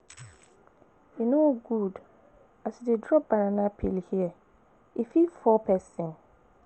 E no good as you dey drop banana peel here, e fit fall pesin.